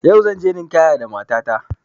Yau zanje ninkaya da mata ta